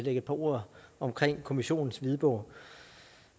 et par ord om kommissionens hvidbog